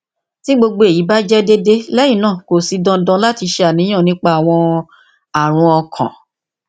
ti gbogbo eyi ba jẹ deede lẹhinna ko si dandan lati ṣàníyàn nipa awọn arun ọkan